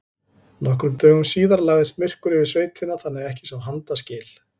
Nokkrum dögum síðar lagðist myrkur yfir sveitina þannig að ekki sá handa skil.